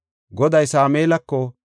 Goday Sameelako,